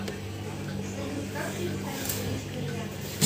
салют как перестать курить кальян